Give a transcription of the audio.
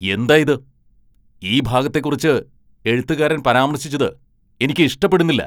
എന്തായിത്? ഈ ഭാഗത്തെക്കുറിച്ച് എഴുത്തുകാരൻ പരാമർശിച്ചത് എനിക്ക് ഇഷ്ടപ്പെടുന്നില്ല.